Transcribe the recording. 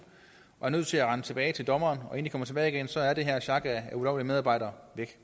og er nødt til at rende tilbage til dommeren så er det her sjak af ulovlige medarbejdere væk